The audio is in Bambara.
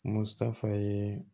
Musa ye